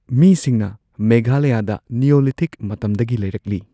ꯃꯤꯁꯤꯡꯅ ꯃꯦꯘꯥꯂꯌꯥꯗꯥ ꯅꯤꯌꯣꯂꯤꯊꯤꯛ ꯃꯇꯝꯗꯒꯤ ꯂꯩꯔꯛꯂꯤ꯫